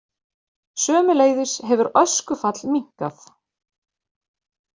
Sömuleiðis hefur öskufall minnkað